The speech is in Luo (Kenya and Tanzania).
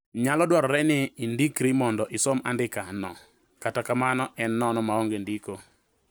Nyalo dwarore ni indikri mondo isom andika no kata kamano en nono maonge chudo